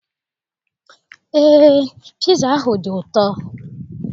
Eé, piza ahụ dị ụtọ.